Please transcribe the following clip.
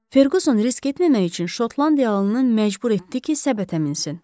Ferguson risk etməmək üçün Şotlandiyalının məcbur etdi ki, səbətə minsın.